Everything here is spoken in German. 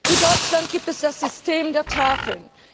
In Deutschland gibt es das System der Tafeln.